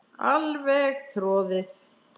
Alveg troðið.